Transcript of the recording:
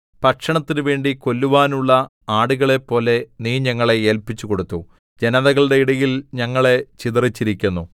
ഭക്ഷണത്തിനുവേണ്ടി കൊല്ലുവാനുള്ള ആടുകളെപ്പോലെ നീ ഞങ്ങളെ ഏല്പിച്ചുകൊടുത്തു ജനതകളുടെ ഇടയിൽ ഞങ്ങളെ ചിതറിച്ചിരിക്കുന്നു